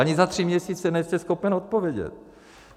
Ani za tři měsíce nejste schopen odpovědět.